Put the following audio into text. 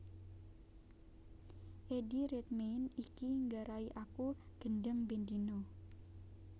Eddie Redmayne iki nggarai aku gendheng ben dina